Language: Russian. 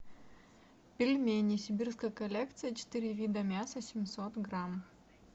пельмени сибирская коллекция четыре вида мяса семьсот грамм